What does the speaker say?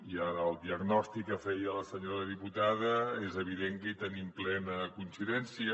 i en el diagnòstic que feia la senyora diputada és evident que hi tenim plena coincidència